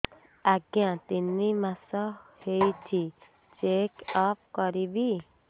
ଆଜ୍ଞା ତିନି ମାସ ହେଇଛି ଚେକ ଅପ କରିବି